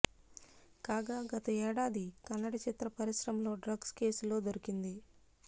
కాగా గత ఏడాది కన్నడ చిత్ర పరిశ్రమలో డ్రగ్స్ కేసులో దొరికింది